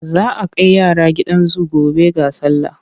Za a kai yara gidan zu gobe ga sallah.